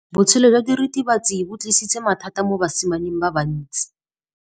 Botshelo jwa diritibatsi ke bo tlisitse mathata mo basimaneng ba bantsi.